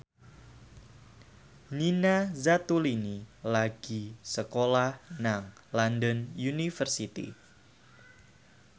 Nina Zatulini lagi sekolah nang London University